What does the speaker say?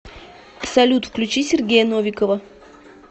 салют включи сергея новикова